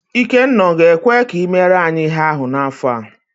Ikenna ọ ga-ekwe i mere anyị ihe ahụ n'afọ a?